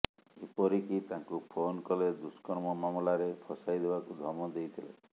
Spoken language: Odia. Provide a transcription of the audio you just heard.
ଏପରିକି ତାଙ୍କୁ ଫୋନ୍ କଲେ ଦୁଷ୍କର୍ମ ମାମଲାରେ ଫସାଇଦେବାକୁ ଧମକ ଦେଇଥିଲେ